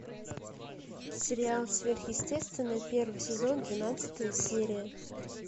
сериал сверхъестественное первый сезон двенадцатая серия